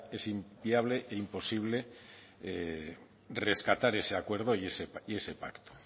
es inviable e imposible rescatar ese acuerdo y ese pacto